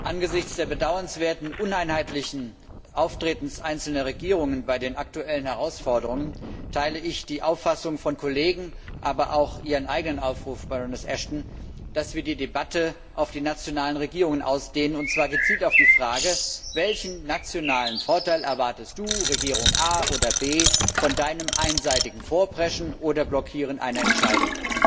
Angesichts des bedauernswerten uneinheitlichen Auftretens einzelner Regierungen im Zusammenhang mit den aktuellen Herausforderungen teile ich die Auffassung von Kollegen, aber auch Ihren eigenen Aufruf, Baroness Ashton, dass wir die Debatte auf die nationalen Regierungen ausdehnen sollten, und zwar gezielt mit der Frage Welchen nationalen Vorteil erwartest Du, Regierung A oder B, von Deinem einseitigen Vorpreschen oder Blockieren einer Entscheidung?